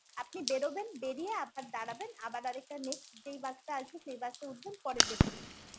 আপনি বেরোবেন বেরিয়ে আবার দাঁড়াবেন আবার আরেকটা next যেই bus টা আসবে সেই bus এ উঠবেন পরের destination এর জন্য